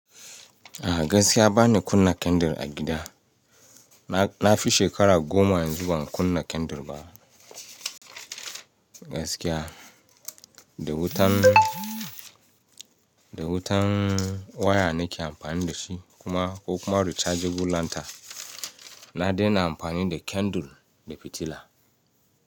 A gaskiya bani kunna candle a gida. Na fi shekara goma yanzu ban kunna candle ba. Gaskiya, da wutan, da wutan waya nake amfani da shi kuma ko kuma rechargeable lantern. Na daina amfani da candle da fitila.